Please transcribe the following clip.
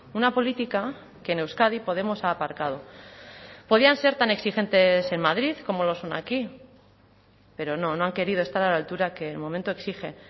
una política que en euskadi podemos ha aparcado podían ser tan exigentes en madrid como lo son aquí pero no no han querido estar a la altura que el momento exige